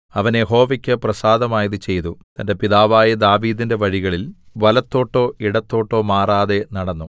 അവൻ യഹോവയ്ക്ക് പ്രസാദമായത് ചെയ്തു തന്റെ പിതാവായ ദാവീദിന്റെ വഴികളിൽ വലത്തോട്ടോ ഇടത്തോട്ടോ മാറാതെ നടന്നു